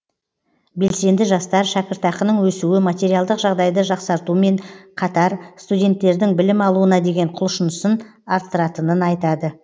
белсенді жастар шәкіртақының өсуі материалдық жағдайды жақсартуымен қатар студенттердің білім алуына деген құлшынысын арттыратынын айтады